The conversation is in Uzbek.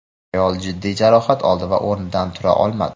Ayol jiddiy jarohat oldi va o‘rnidan tura olmadi.